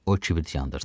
O kibrit yandırdı.